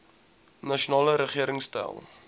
nasionale regering stel